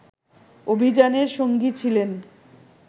অভিযানের সঙ্গী ছিলেন